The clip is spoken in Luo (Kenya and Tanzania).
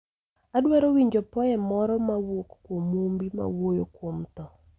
Adwaro winjo poem moro mawuok kuom mumbi mawuoyo kuom tho